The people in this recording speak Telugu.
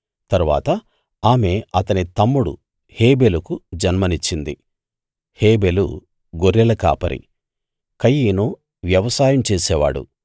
తరువాత ఆమె అతని తమ్ముడు హేబెలుకు జన్మనిచ్చింది హేబెలు గొర్రెల కాపరి కయీను వ్యవసాయం చేసేవాడు